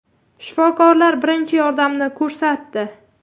Shifokorlar birinchi yordamni ko‘rsatdi.